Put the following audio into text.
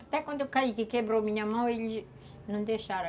Até quando eu caí que quebrei a minha mão, eles não deixaram.